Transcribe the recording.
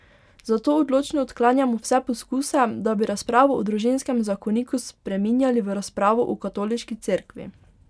Zato odločno odklanjamo vse poskuse, da bi razpravo o družinskem zakoniku spreminjali v razpravo o Katoliški cerkvi.